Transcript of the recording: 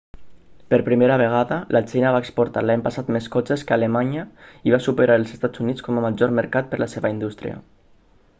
per primera vegada la xina va exportar l'any passat més cotxes que alemanya i va superar els estats units com a major mercat per la seva indústria